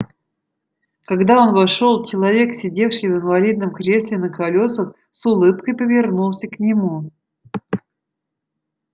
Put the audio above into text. когда он вошёл человек сидевший в инвалидном кресле на колёсах с улыбкой повернулся к нему